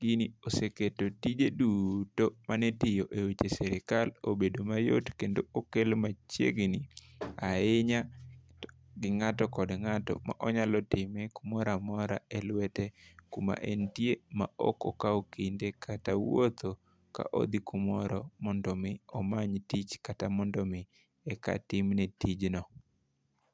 Gini oseketo tije duto manitiyo e weche sirikal obedo mayot kendo okel machiegni ahinya gi ng'ato kod ngato ma onyalo time kumoramora e lwete kuma entie ma ok okawo kinde kata, wuotho ka odhi kamoro mondo mi omany tich kata mondo mi eka tim ne tijno.